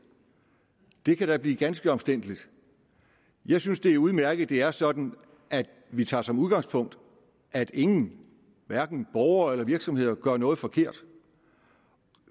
det kan da blive ganske omstændeligt jeg synes det er udmærket at det er sådan at vi tager som udgangspunkt at ingen hverken borgere eller virksomheder gør noget forkert